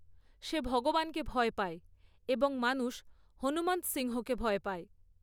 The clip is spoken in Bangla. সে ভগবানকে ভয় পায় এবং মানুষ হনুমন্ত সিংহকে ভয় পায়।